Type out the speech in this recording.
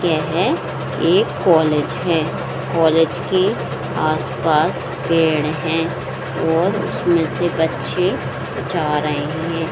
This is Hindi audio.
यह एक कॉलेज है कॉलेज के आस-पास पेड़ हैं और उसमें से बच्चे जा रहे हैं।